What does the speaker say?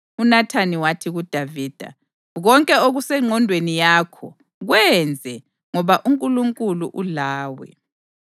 UNathani wathi kuDavida, “Konke okusengqondweni yakho, kwenze, ngoba uNkulunkulu ulawe.”